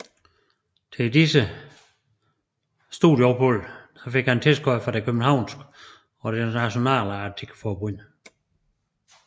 Til disse disse studieophold fik han tilskud fra det københavnske og det nationale atletikforbund